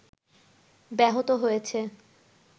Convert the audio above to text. ব্যাহত হচ্ছে